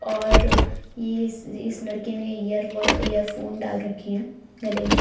और यह इस इस लड़के ने ईयर एयरफोन डाल रखे हैं गले में